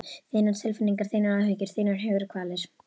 Þínar tilfinningar, þínar áhyggjur, þínar hugarkvalir.